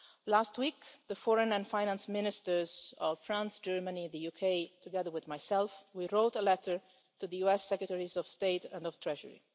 Last week, the Foreign and Finance Ministers of France, Germany and the UK, together with myself, wrote a letter to the US Secretaries of State and of the Treasury.